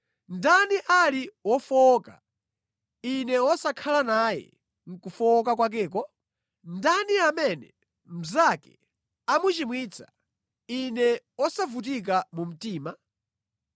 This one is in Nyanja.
Ndani ali wofowoka, ine wosakhala naye mʼkufowoka kwakeko? Ndani amene mnzake amuchimwitsa, ine wosavutika mu mtima?